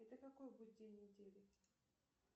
это какой будет день недели